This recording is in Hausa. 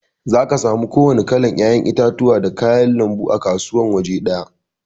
Zaka samu ku wanna kalan 'ya'yan itatuwa da kayan lanbu a kasuwa awaje daya.